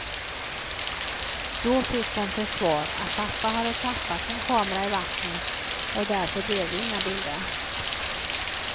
Då fick hon till svar att pappa hade tappat sin kamera i vattnet och därför blev det inga bilder.